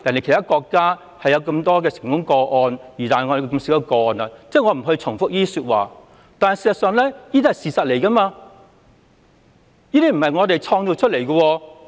其他國家有不少成功個案，但香港的成功個案卻很少，這些情況都是事實，並非我們創造出來。